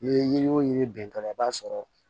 N'i ye yiri o yirita la i b'a sɔrɔ